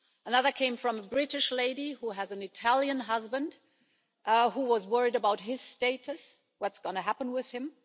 Another came from a British lady who has an Italian husband and who was worried about his status, what's going to happen with him.